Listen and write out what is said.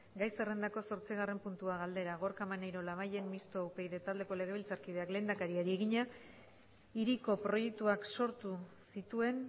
gai zerrendako zortzigarren puntua galdera gorka maneiro labayen mistoa upyd taldeko legebiltzarkideak lehendakariari egina hiriko proiektuak sortu zituen